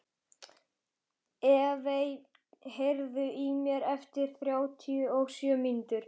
Evey, heyrðu í mér eftir þrjátíu og sjö mínútur.